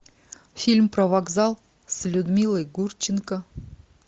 фильм про вокзал с людмилой гурченко